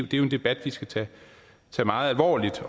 jo en debat vi skal tage meget alvorligt